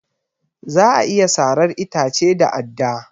Za a iya sarar itace da adda